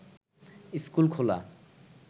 school খোলা